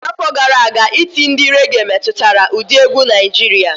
Afọ gara aga, iti ndi réghè metụtara ụdị egwu Naịjirịa.